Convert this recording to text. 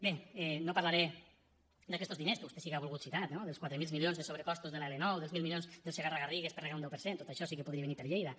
bé no parlaré d’aquestos diners que vostè sí que ha volgut citar no dels quatre mil milions de sobrecostos de l’l9 dels mil milions del segarra garrigues per regar un deu per cent amb tot això sí que podria venir per lleida